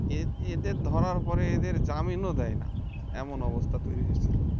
এএদের ধরার পরে এদের জামিনও দেয় না এমন অবস্থা তৈরি হয়েছে